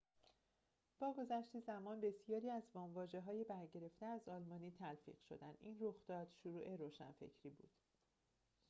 با گذشت زمان بسیاری از وام‌واژه‌های برگرفته از آلمانی تلفیق شدند این رخداد شروع روشنگری بود